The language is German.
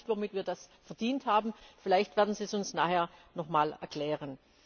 Ich weiß nicht, womit wir das verdient haben, vielleicht werden Sie uns das nachher nochmals erklären.